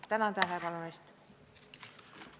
Tänan tähelepanu eest!